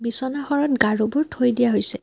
বিছনাখনত গাৰোবোৰ থৈ দিয়া হৈছে।